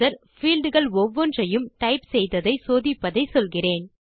field கள் ஒவ்வொன்றையும் type செய்ததை சோதிப்பதை சொல்கிறேன்